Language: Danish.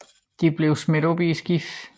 De blev smidt op i skibet